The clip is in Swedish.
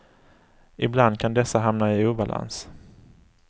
Ibland kan dessa hamna i obalans.